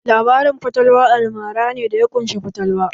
Labaran fatalwa almara ne da ya ƙunshi fatalwa